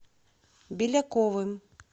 беляковым